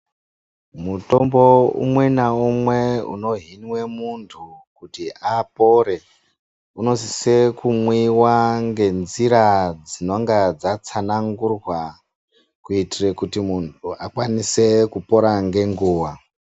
Mutombo umwe naumwe unohinwa muntu kuti apore unosisa kumwiwa ngenzira dzinonga dzatsanangurwa kuitira kuti muntu akwanise kupora ngenguwa.